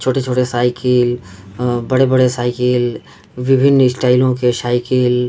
छोटे-छोटे साईकिल अ बड़े -बड़े साईकिल विभिन्न स्टाइलो के साईकिल --